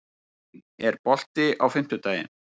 Elín, er bolti á fimmtudaginn?